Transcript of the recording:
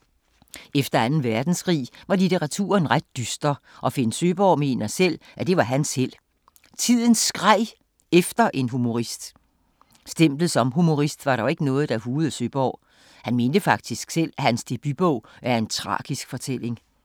Efter 2. verdenskrig var litteraturen ret dyster, og Finn Søeborg mener selv, at det var hans held. Tiden skreg efter en humorist. Stemplet som humorist var dog ikke noget, der huede Søeborg. Han mente faktisk selv, at hans debutbog er en tragisk fortælling.